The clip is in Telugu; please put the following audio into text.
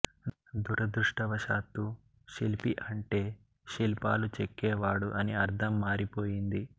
దురదృష్టవశాత్తూ శిల్పి అంటే శిల్పాలు చెక్కే వాడు అని అర్థం మారిపోయింది